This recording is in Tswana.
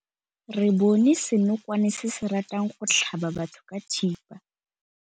Re bone senokwane se se ratang go tlhaba batho ka thipa.